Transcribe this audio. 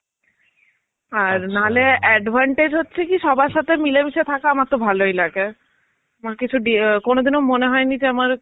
আর, নাহলে advantage হচ্ছে যে কি সবার সাথে মিলেমিশে থাকা আমার তো ভালোই লাগে. মানে কিছু দিয়ে কোনদিনও মনে হয়নি যে আমার